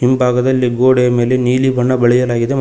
ಹಿಂಭಾಗದಲ್ಲಿ ಗೋಡೆ ಮೇಲೆ ನೀಲಿ ಬಣ್ಣ ಬಳಿಯಲಾಗಿದೆ ಮತ್--